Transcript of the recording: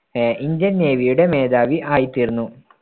അഹ് Indian നേവിയുടെ മേധാവി ആയി തീർന്നു.